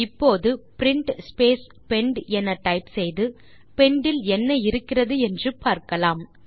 இப்போது print space pend என type செய்து பெண்ட் இல் என்ன இருக்கிறது என்று பார்க்கலாம்